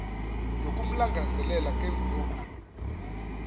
nokumlangazelela ke ngoku